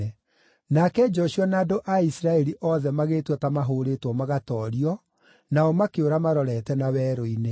Nake Joshua na andũ a Isiraeli othe magĩĩtua ta mahũũrĩtwo magatoorio, nao makĩũra marorete na werũ-inĩ.